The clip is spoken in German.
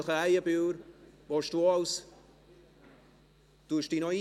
Samuel Krähenbühl, willst du auch als ...